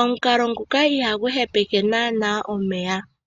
Omukalo nguka iha gu hepeke naana omeya.